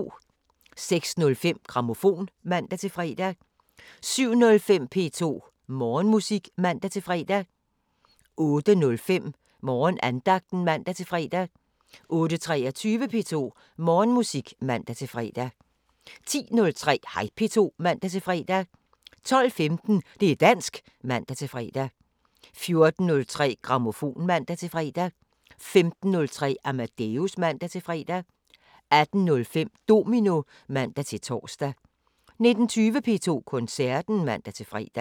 06:05: Grammofon (man-fre) 07:05: P2 Morgenmusik (man-fre) 08:05: Morgenandagten (man-fre) 08:23: P2 Morgenmusik (man-fre) 10:03: Hej P2 (man-fre) 12:15: Det´ dansk (man-fre) 14:03: Grammofon (man-fre) 15:03: Amadeus (man-fre) 18:05: Domino (man-tor) 19:20: P2 Koncerten (man-fre)